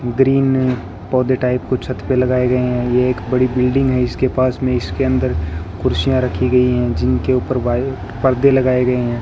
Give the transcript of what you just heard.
Green पौधे type कुछ छत पर लगाए गए हैं ये एक बड़ी बिल्डिंग है इसके पास में इसके अंदर कुर्सियां रखी गई हैं जिनके ऊपर वाइट पर्दे लगाए गए हैं।